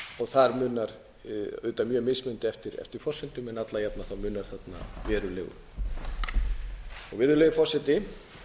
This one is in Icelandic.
þar munar auðvitað mjög mismunandi eftir forsendum en alla jafna munar þarna verulegu virðulegi forseti